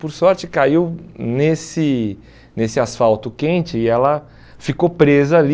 Por sorte, caiu nesse nessa asfalto quente e ela ficou presa ali.